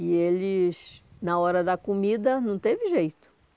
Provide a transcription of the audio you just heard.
E eles, na hora da comida, não teve jeito.